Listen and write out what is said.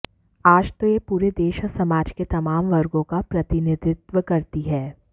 आज तो यह पूरे देश और समाज के तमाम वर्गों का प्रतिनिधित्व करती है